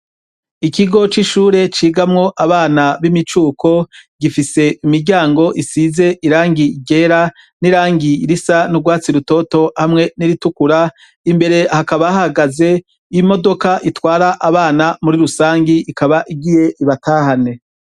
Ikigo c'ishure cigamwo abana b'imicuko gifise imiryango isize irangi igera n'irangiy irisa n'urwatsi rutoto hamwe n'iritukura imbere hakabahagaze imodoka itwara abana muri rusangi ikaba igiye ibatahane.